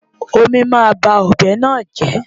Omí máa ba ọ̀bẹ náà jẹ́.